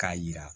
K'a yira